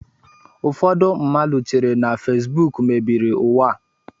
Ụfọdụ mmadụ chere na fesbụụk mebiri ụwa a